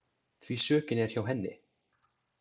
Því sökin er hjá henni.